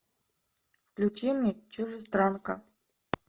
включи мне чужестранка